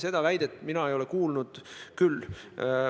Seda väidet mina ei ole mujal kuulnud.